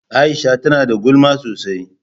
Aisha ta nada gulma sosai.